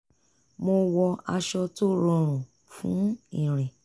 mo wọ aṣọ tó rọrùn fún ìrìn